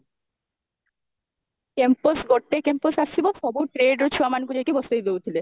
campus ଗୋଟେ campus ଆସିବ ସବୁ trade ର ଛୁଆ ମାନଙ୍କୁ ନେଇକି ବସେଇଦଉଥିଲେ